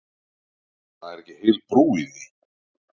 Það er ekki heil brú í því.